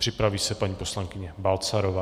Připraví se paní poslankyně Balcarová.